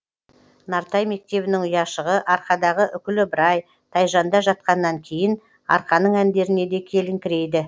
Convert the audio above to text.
нартай мектебінің ұяшығы арқадағы үкілі ыбырай тайжанда жатқаннан кейін арқаның әндеріне де келіңкірейді